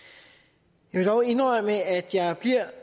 jeg må dog indrømme at jeg bliver